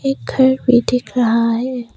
एक घर भी दिख रहा है।